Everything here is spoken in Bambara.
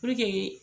Puruke